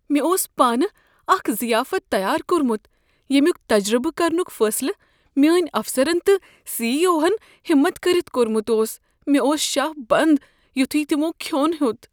مےٚ اوس پانہ اکھ ضیافت تیار کوٚرمت ییٚمیک تجربہٕ کرنُک فٲصلہٕ میٲنۍ افسرن تہٕ سی ای اوہن ہٮ۪مت کٔرتھ کوٚرمت اوس مےٚ اوس شاہ بنٛد یتھے تمو کھیوٚن ہیوٚت۔